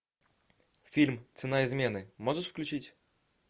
фильм цена измены можешь включить